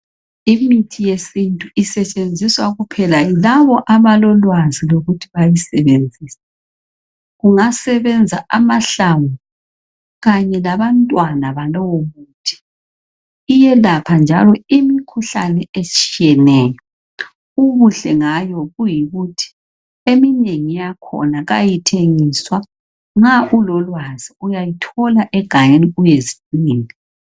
Imithi yesintu isetshenziswa kuphela yilabo abalolwazi lokuthi bayisebenzise, kungasebenza amahlamvu kanye labantwana iyelapha njalo imikhuhlane etshiyeneyo, ubuhle ngayo yikuthi eminengi yakhona ayithengiswa , nxa u lolwazi uyayithola egangeni uyezidingela.